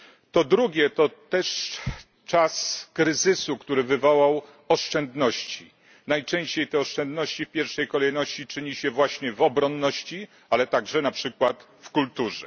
Po drugie to też czas kryzysu, który wywołał oszczędności, najczęściej te oszczędności w pierwszej kolejności czyni się właśnie w obronności, ale także na przykład w kulturze.